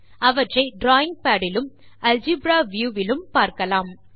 அவற்றை drawing pad இலும் algebra view விலும் பார்க்கலாம்